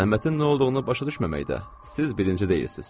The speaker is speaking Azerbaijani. Zəhmətin nə olduğunu başa düşməməkdə siz birinci deyilsiz.